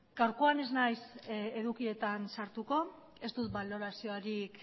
gaurkoan ez naiz edukietan sartuko ez du baloraziorik